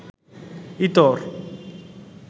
ইতর